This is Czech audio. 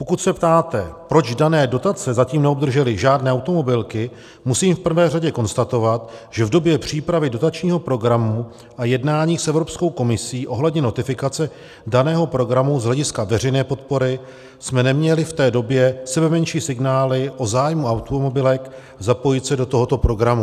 Pokud se ptáte, proč dané dotace zatím neobdržely žádné automobilky, musím v prvé řadě konstatovat, že v době přípravy dotačního programu a jednání s Evropskou komisí ohledně notifikace daného programu z hlediska veřejné podpory jsme neměli v té době sebemenší signály o zájmu automobilek zapojit se do tohoto programu.